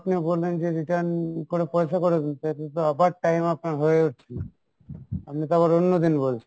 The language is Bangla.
আপনি বললেন যে return করে আবার আপনার time হয়ে উঠছে না, আপনি তো আবার অন্য দিন বলছেন।